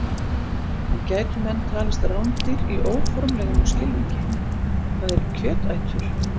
En gætu menn talist rándýr í óformlegri skilningi, það er kjötætur?